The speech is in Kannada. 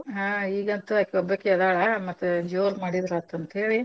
ಹಾ ಈಗಂತೂ ಅಕಿ ಒಬ್ಬಾಕೆ ಅದಾಳ ಮತ್ ಜೋರ್ ಮಾಡಿದ್ರಾತು ಅಂತ ಹೇಳಿ.